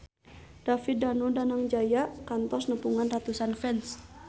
David Danu Danangjaya kantos nepungan ratusan fans